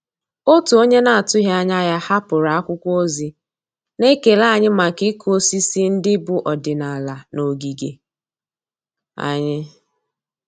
Òtù ónyé nà-àtụ́ghị́ ányà yá hàpụ́rụ̀ ákwụ́kwọ́ ózì nà-ékélé ànyị́ màkà ị́kụ́ ósísí ndị́ bù ọ́dị́nàlà nà ògígè ànyị́.